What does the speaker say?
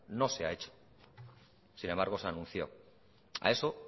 no se ha hecho sin embargo se anunció a eso